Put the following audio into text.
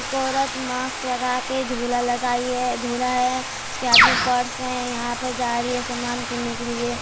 एक औरत मास्क लगा के झोला लगाई है झोला है उसके हाथ में पर्स है यहाँ पे जा रही है समान किन्ने के लिए।